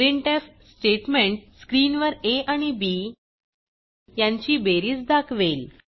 printf statement स्क्रीनवर a आणि b यांची बेरीज दाखवेल